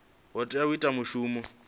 o tea u ita mushumo